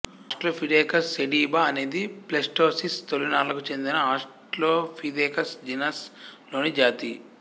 Australopithecus sediba అనేది Pleistocene తొలినాళ్ళకు చెందిన ఆస్ట్రలోపిథెకస్ జీనస్ లోని జాతి